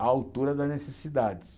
à altura das necessidades.